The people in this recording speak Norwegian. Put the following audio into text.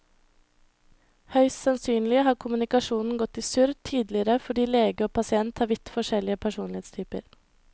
Høyst sannsynlig har kommunikasjonen gått i surr tidligere fordi lege og pasient har vidt forskjellig personlighetstyper.